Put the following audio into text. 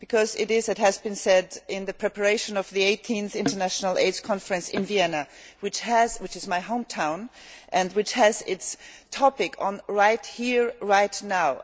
It is as has been said in the preparation of the 18th International AIDS Conference in Vienna which is my home town and which has as its topic, right here, right now'.